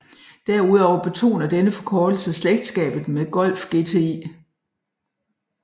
Derudover betoner denne forkortelse slægtskabet med Golf GTI